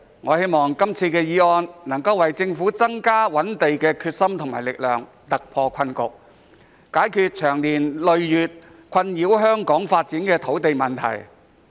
我希望這項議案能夠為政府增加覓地的決心和力量，突破困局，解決長年累月困擾香港發展的土地問題。